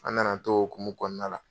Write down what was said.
An na na t'o hokumu kɔnɔna la.